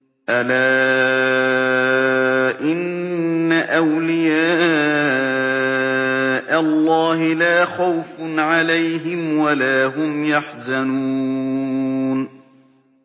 أَلَا إِنَّ أَوْلِيَاءَ اللَّهِ لَا خَوْفٌ عَلَيْهِمْ وَلَا هُمْ يَحْزَنُونَ